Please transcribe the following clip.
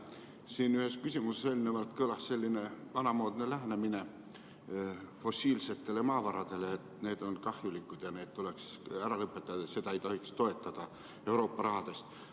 Eelnevalt siin ühes küsimuses kõlas selline vanamoodne lähenemine fossiilsetele maavaradele, et need on kahjulikud ja nende kasutamine tuleks ära lõpetada ning seda ei tohiks toetada Euroopa rahast.